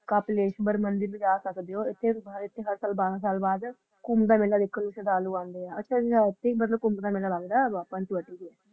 ਕੁੰਬ ਦਾ ਮੈਲਾ ਹੋ ਅੱਛਾ ਉਥੇ ਹੈ ਕੁੰਬ ਢਾ ਮੱਲਾ ਲੱਗਦਾ ਹੈ ਉਥੇ